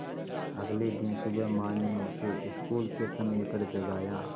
अगले दिन सुबह माँ ने उसे स्कूल के समय पर जगाया